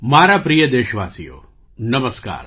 મારા પ્રિય દેશવાસીઓ નમસ્કાર